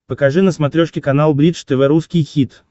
покажи на смотрешке канал бридж тв русский хит